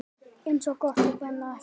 Eins gott að brenna ekki!